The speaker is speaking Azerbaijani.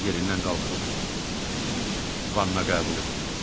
Yerindən qalxıb vanna qəbul etdi.